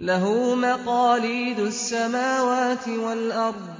لَّهُ مَقَالِيدُ السَّمَاوَاتِ وَالْأَرْضِ ۗ